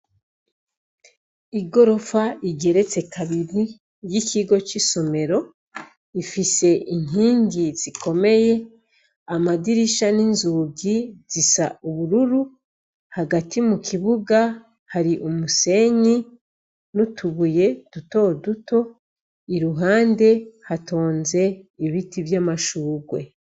Igorofa igeretse kabiri y'ikigo c'isomero ifise inkingi zikomeye amadirisha n'inzugi zisa ubururu, hagati mu kibuga hari umusenyi n'utubuye duto duto, iruhande hatonze ibiti vy'amashurwe.